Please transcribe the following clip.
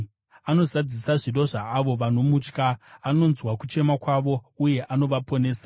Anozadzisa zvido zvaavo vanomutya; anonzwa kuchema kwavo uye anovaponesa.